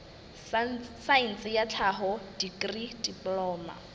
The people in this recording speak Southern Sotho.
saense ya tlhaho dikri diploma